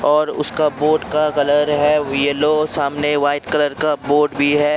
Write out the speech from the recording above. और उसका बोर्ड का कलर है येलो सामने व्हाइट कलर का बोर्ड भी है।